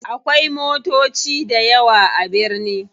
Akwai motoci dayawa a birni.